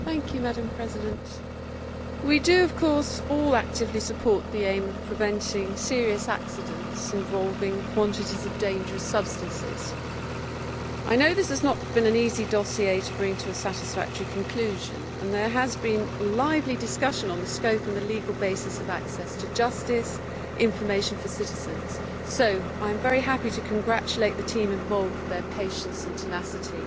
Madam President, of course we all actively support the aim of preventing serious accidents involving quantities of dangerous substances. I know this has not been an easy dossier to bring to a satisfactory conclusion and there has been lively discussion on the scope and the legal basis of access to justice and information for citizens. So I am very happy to congratulate the team involved on their patience and tenacity.